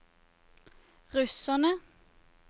russerne